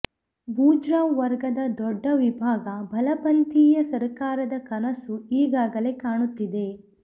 ಬೂಜ್ರ್ವಾ ವರ್ಗದ ದೊಡ್ಡ ವಿಭಾಗ ಬಲಪಂಥೀಯ ಸರಕಾರದ ಕನಸು ಈಗಾಗಲೇ ಕಾಣುತ್ತಿದೆ